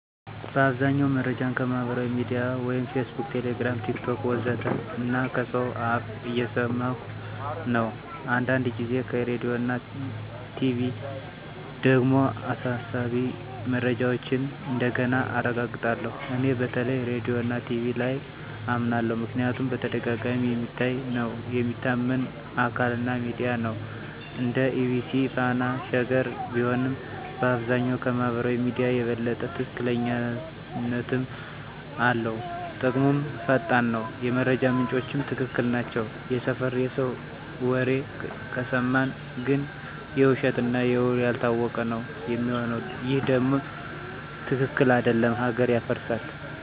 በአብዛኛው መረጃን ከማህበራዊ ሚድያ (Facebook, Telegram, TikTok ወዘተ) እና ከሰው አፍ እየሰማኩ ነው። አንዳንድ ጊዜ ከራዲዮና ቲቪ ደግሞ አሳሳቢ መረጃዎችን እንደገና አረጋግጣለሁ። እኔ በተለይ ራዲዮና ቲቪ ላይ አመናለሁ ምክንያቱም በተደጋጋሚ የሚታይ ነው፣ የሚታመን አካል እና ሚዲያ ነው (እንደ EBC፣ Fana፣ Sheger ቢሆንም)፣ በአብዛኛው ከማህበራዊ ሚዲያ የበለጠ ትክክለኛነትም አለው። ጥቅሙም ፈጣን ነው፣ የመረጃ ምንጮቹም ትክክል ናቸው። የሰፈር የሰው ወሬ ከሰማን ግን የውሸት እና ውሉ ያልታወቀ ነው ሚሆነው ይሄ ደም ትክክል አደለም ሀገር ያፈርሳል።